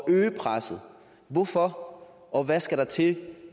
øge presset hvorfor og hvad skal der til